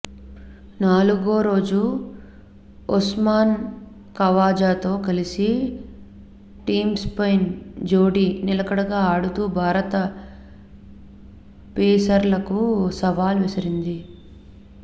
నాలుగోరోజు ఉస్మాన్ ఖవాజాతో కలిసి టిమ్పైన్ జోడీ నిలకడగా ఆడుతూ భారత పేసర్లకు సవాల్ విసిరారు